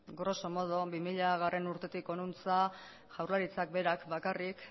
grosso modo bi milagarrena urtetik hona jaurlaritzak berak bakarrik